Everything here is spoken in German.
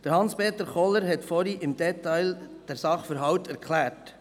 Hans-Peter Kohler hat den Sachverhalt im Detail erklärt.